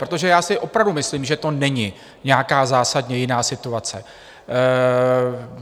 Protože já si opravdu myslím, že to není nějaká zásadně jiná situace.